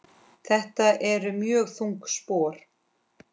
Þetta eru mjög þung spor.